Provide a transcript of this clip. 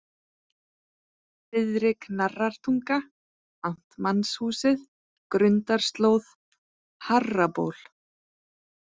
Syðri-Knarrartunga, Amtmannshúsið, Grundarslóð, Harraból